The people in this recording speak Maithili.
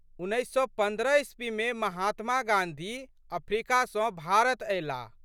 उन्नैस सए पन्द्रह ईस्वीमे महात्मा गाँधी अफ्रिका सँ भारत अयलाह।